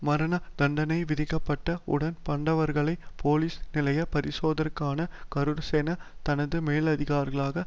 மரணதண்டனை விதிக்கப்பட்ட உடன் பண்டவர்களை போலிஸ் நிலையப் பரிசோதகரான கருணாசேன தனது மேலதிகாரிகளான